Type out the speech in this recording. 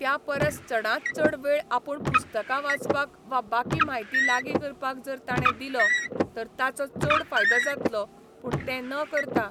त्या परस चडांत चड वेळ आपूण पुस्तकां वाचपाक वा बाकी म्हायती लागी करपाक जर ताणें दिलो तर ताचो चड फायदो जातलो पूण तें न करता